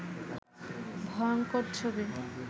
ভয়ংকর ছবি